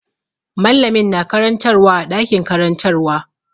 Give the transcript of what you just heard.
Mallamin na karantarwa a ɗakin karantarwa.